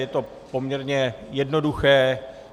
Je to poměrně jednoduché.